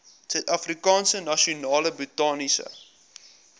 suidafrikaanse nasionale botaniese